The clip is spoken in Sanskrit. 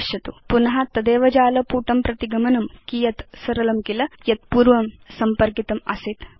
पश्यतु पुन तदेव जालपुटं प्रति गमनं कियत् सरलं किल यत् पूर्वं त्वत् सम्पर्कितमासीत्